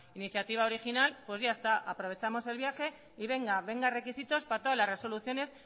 iniciativa original pues ya está aprovechamos el viaje y venga venga requisitos para todas las resoluciones